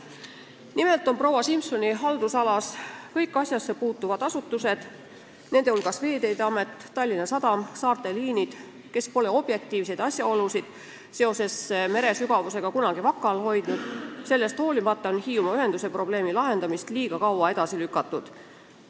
Nimelt on proua Simsoni haldusalas kõik asjasse puutuvad asutused, nende hulgas Veeteede Amet, Tallinna Sadam ja Saarte Liinid, kes pole mere sügavusega seotud objektiivseid asjaolusid kunagi varjanud, sellest hoolimata on Hiiumaa ühenduse probleemi lahendamist liiga kaua edasi lükatud.